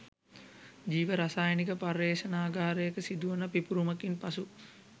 ජීව රසායනික පර්යේෂණාගාරයක සිදුවන පිපූරුමකින් පසු